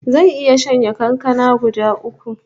Zan iya shanye kankana guda uku